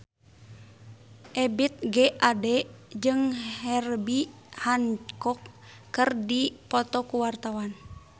Ebith G. Ade jeung Herbie Hancock keur dipoto ku wartawan